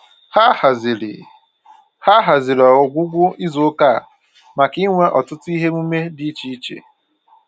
Ha haziri Ha haziri ọgwụgwụ izuụka a maka inwe ọtụtụ ihe emume dị iche iche